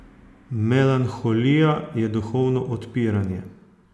Melanholija je duhovno odpiranje.